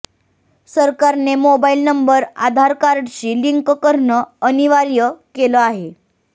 सरकारने mobile number Aadhaar कार्डशी link करणं अनिवार्य केलं आहे